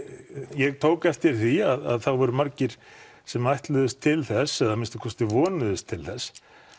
ég tók eftir því að það voru margir sem ætluðust til þess eða að minnsta kosti vonuðust til þess